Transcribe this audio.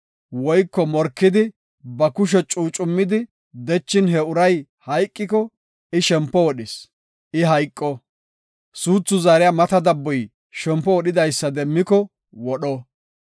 woyko morkidi ba kushe cuucummidi dechin he uray hayqiko, I shempo wodhis; I hayqo. Suuthu zaariya mata dabboy shempo wodhidaysa demmiko wodho.